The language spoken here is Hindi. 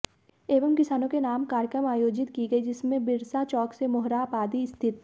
एवं किसानों के नाम कार्यक्रम आयोजित की गई जिसमें बिरसा चौक से मोरहाबादी स्थित